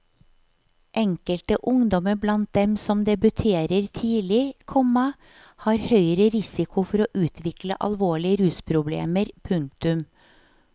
Enkelte ungdommer blant dem som debuterer tidlig, komma har høyere risiko for å utvikle alvorlige rusproblemer. punktum